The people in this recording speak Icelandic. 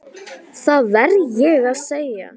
Það verð ég að segja.